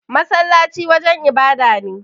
Masallaci wajan ibada ne.